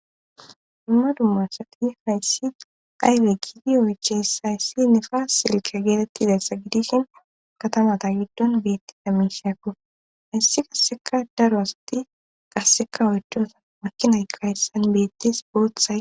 dumma dummU asati hayssi aybe giidi oyches hayssi nefaa silke geetettidayssa gidishin katamata giddon beettida miisheakko hayssi qasseka daro asati qasseka oycdonsa makkinayka hessan beettis booththa